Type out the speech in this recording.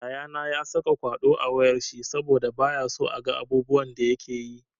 Yayana ya saka kwaɗo a wayar shi saboda bayaso a ga abubuwan da yakeyi.